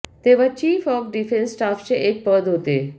तेव्हा chief of defence स्टाफचे एक पद होते